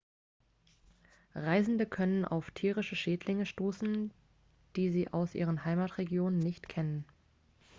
reisende können auf tierische schädlinge stoßen die sie aus ihren heimatregionen nicht kennen